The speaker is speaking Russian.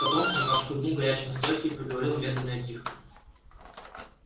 потом он отхлебнул горячей настойки и проговорил медленно и тихо